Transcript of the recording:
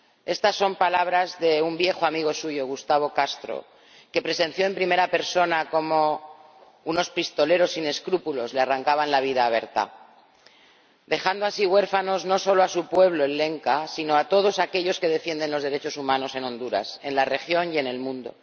Estas son palabras de un viejo amigo suyo, Gustavo Castro, que presenció en primera persona cómo unos pistoleros sin escrúpulos le arrancaban la vida a Berta, dejando así huérfanos no solo a su pueblo, el lenca, sino a todos aquellos que defienden los derechos humanos en Honduras, en la región y en el mundo.